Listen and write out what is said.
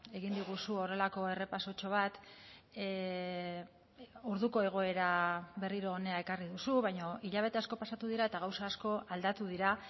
egin diguzu horrelako errepasotxo bat orduko egoera berriro hona ekarri duzu baina hilabete asko pasatu dira eta gauza asko aldatu dira